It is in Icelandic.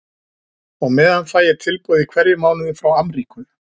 Og á meðan fæ ég tilboð í hverjum mánuði frá Amríku.